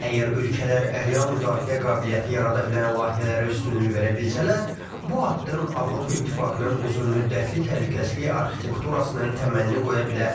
Əgər ölkələr real müdafiə qabiliyyəti yarada bilən layihələrə üstünlük verə bilsələr, bu addım Avropa İttifaqının uzunmüddətli təhlükəsizlik arxitekturasının təməlini qoya bilər.